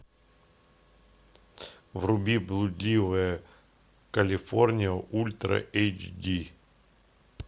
вруби блудливая калифорния ультра эйч ди